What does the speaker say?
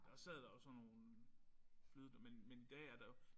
Der sad der jo sådan nogle flyde men men i dag er der jo